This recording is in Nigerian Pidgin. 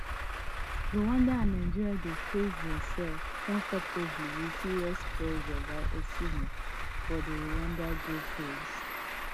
rwanda and nigeria dey face dia sef comfortably wit serious pressure by osihmen for di rwanda goalpost